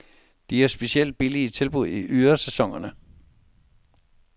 De har specielt billige tilbud i ydersæsonerne.